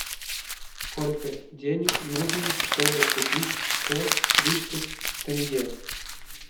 сколько денег нужно чтобы купить сто тридцать тенге